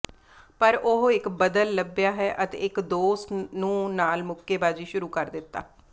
ਪਰ ਉਹ ਇੱਕ ਬਦਲ ਲੱਭਿਆ ਹੈ ਅਤੇ ਇੱਕ ਦੋਸਤ ਨੂੰ ਨਾਲ ਮੁੱਕੇਬਾਜ਼ੀ ਸ਼ੁਰੂ ਕਰ ਦਿੱਤਾ